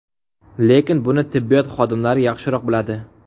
Lekin buni tibbiyot xodimlari yaxshiroq biladi.